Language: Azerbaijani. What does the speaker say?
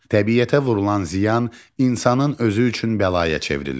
Təbiətə vurulan ziyan insanın özü üçün bəlaya çevrilir.